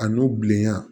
A n'u bilenya